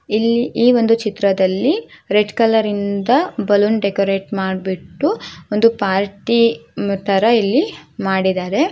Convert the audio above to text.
ಈ ಒಂದು ಚಿತ್ರದಲ್ಲಿ ರೆಡ್ ಕಲರ್ ಇಂದ ಬಲೂನ್ ಡೆಕುರೇಟ್ ಮಾಡಿಬಿಟ್ಟು ಒಂದು ಪಾರ್ಟಿ ತರಹ ಇಲ್ಲಿ ಮಾಡಿದ್ದಾರೆ.